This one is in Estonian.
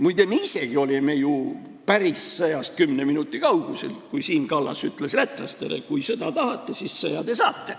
Muide, me isegi olime ju päris sõjast 10 minuti kaugusel, kui Siim Kallas ütles lätlastele, et kui sõda tahate, siis sõja te saate.